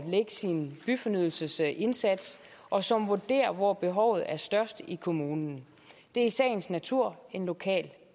lægge sin byfornyelsesindsats og som vurderer hvor behovet er størst i kommunen det er i sagens natur en lokal